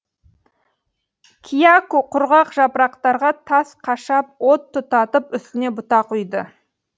кияку құрғақ жапырақтарға тас қашап от тұтатып үстіне бұтақ үйді